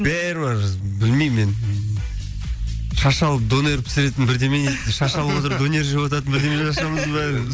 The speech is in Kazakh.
бәрі бар білмеймін мен шаш алып донер пісіретін бірдеме шаш алып отырып донер жеп отыратын бірдемелер ашамыз ба